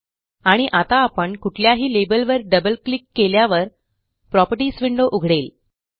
आणि आता आपण कुठल्याही लेबलवर डबल क्लिक केल्यावर प्रॉपर्टीज विंडो उघडेल